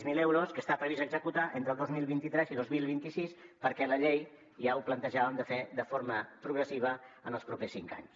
zero euros que està previst executar entre el dos mil vint tres i dos mil vint sis perquè a la llei ja ho plantejàvem de fer de forma progressiva en els propers cinc anys